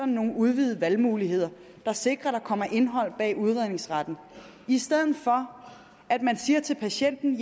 nogle udvidede valgmuligheder der sikrer at der kommer indhold bag udredningsretten i stedet for at man siger til patienten